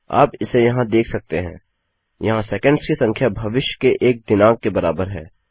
आप इसे यहाँ देख सकते हैं - यहाँ सेकंड्स की संख्या भविष्य के एक दिनांक के बराबर है